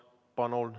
Palun!